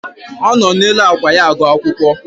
O no n'elu ákwà ya agụ akwụkwọ